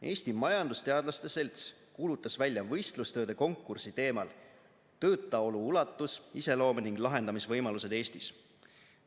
Eesti Majandusteadlaste Selts kuulutas välja võistlustööde konkursi teemal "Töötaolu ulatus, iseloom ning lahendamisevõimalused Eestis".